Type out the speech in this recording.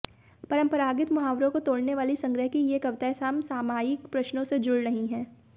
परंपरागत मुहावरों को तोड़ने वाली संग्रह की ये कविताएं समसामयिक प्रश्नों से जुड़ रही हैं